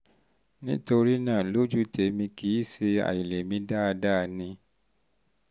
nítorí náà lójú tèmi kì í ṣe àìlèmí dáadáa ni